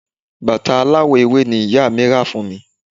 bàtà aláwọ̀ ewé ni ìyá mí rà fún mi